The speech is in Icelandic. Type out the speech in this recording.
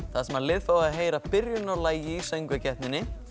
þar sem liðin fá að heyra byrjun á lagi í söngvakeppninni